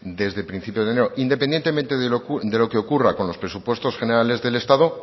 desde principio de enero independientemente de lo que ocurra con los presupuestos generales del estado